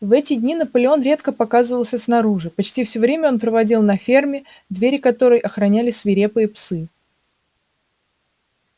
в эти дни наполеон редко показывался снаружи почти всё время он проводил на ферме двери которой охраняли свирепые псы